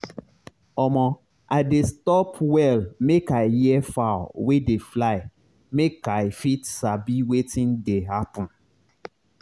omo i dey stop well make i hear fowl wey dey fly make i fit sabi wetin dey happen.